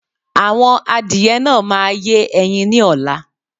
Àwọn adìyẹ náà máa yẹ́ ẹyin ni ọ̀la